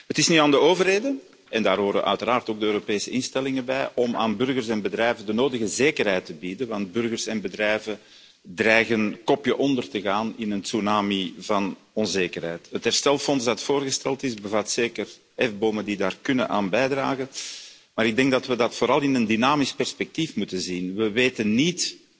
Het is nu aan de overheden en daar horen uiteraard ook de Europese instellingen bij om aan burgers en bedrijven de nodige zekerheid te bieden, want burgers en bedrijven dreigen kopje onder te gaan in een tsunami van onzekerheid. Het herstelfonds dat voorgesteld is, bevat zeker hefbomen die daaraan kunnen bijdragen, maar ik denk dat we dat vooral in een dynamisch perspectief moeten zien. We weten niet